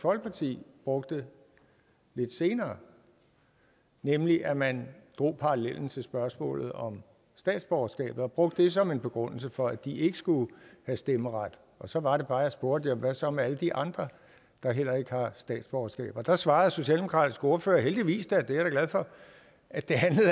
folkeparti brugte lidt senere nemlig at man drog parallellen til spørgsmålet om statsborgerskab og brugte det som en begrundelse for at de ikke skulle have stemmeret og så var det bare jeg spurgte at hvad så med alle de andre der heller ikke har statsborgerskab og der svarede den socialdemokratiske ordfører heldigvis da det er jeg glad for at det